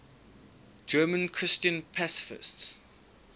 german christian pacifists